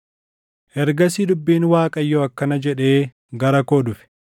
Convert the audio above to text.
Ergasii dubbiin Waaqayyoo akkana jedhee gara koo dhufe: